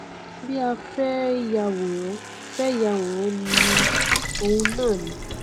bí a fẹ yàwòrán fẹ yàwòrán ni òun náà ni